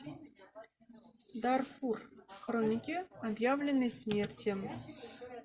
дарфур хроники объявленной смерти